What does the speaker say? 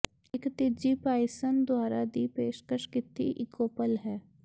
ਇੱਕ ਤੀਜੀ ਪਾਈਸਨ ਦੁਆਰਾ ਦੀ ਪੇਸ਼ਕਸ਼ ਕੀਤੀ ਈਕੋਪਲ ਹੈ